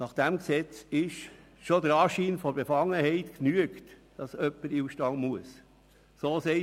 Nach dem Gesetz genügt schon der Anschein von Befangenheit, damit jemand in den Ausstand treten muss.